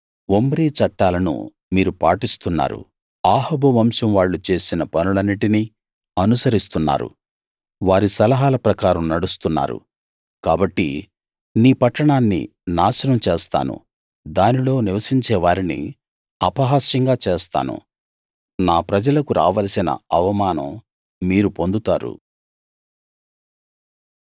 Omri చట్టాలను మీరు పాటిస్తున్నారు అహాబు వంశం వాళ్ళు చేసిన పనులన్నిటినీ అనుసరిస్తున్నారు వారి సలహాల ప్రకారం నడుస్తున్నారు కాబట్టి నీ పట్టణాన్ని నాశనం చేస్తాను దానిలో నివసించే వారిని అపహాస్యంగా చేస్తాను నా ప్రజలకు రావలసిన అవమానం మీరు పొందుతారు